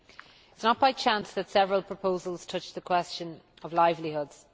It is not by chance that several proposals touch the question of livelihoods.